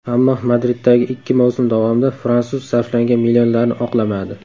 Ammo Madriddagi ikki mavsum davomida fransuz sarflangan millionlarni oqlamadi.